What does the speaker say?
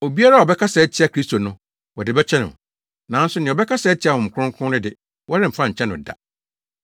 Obiara a ɔbɛkasa atia Kristo no, wɔde bɛkyɛ no. Nanso nea ɔbɛkasa atia Honhom Kronkron no de, wɔremfa nkyɛ no da.